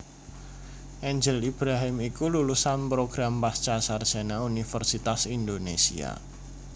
Angel Ibrahim iku lulusan program pascasarjana Universitas Indonésia